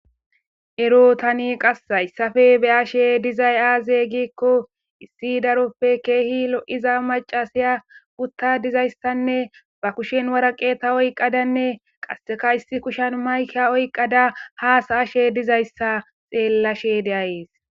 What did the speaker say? ero tani qas hayssafe be ashe dizay aaze giikko issi daroppe keehi lo7iza macasiya gutta dizayssanne ba kushen waraqeta oyqadanne qasseka issi kushan mayka oyqada haasa ashe dizayssa xeellashe deayees